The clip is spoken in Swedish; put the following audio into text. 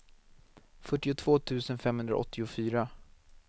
fyrtiotvå tusen femhundraåttiofyra